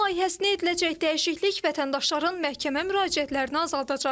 Qanun layihəsinə ediləcək dəyişiklik vətəndaşların məhkəmə müraciətlərini azaldacaq.